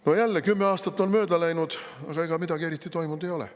No jälle, kümme aastat on mööda läinud, aga ega midagi eriti toimunud ei ole.